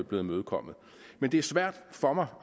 blevet imødekommet men det er svært for mig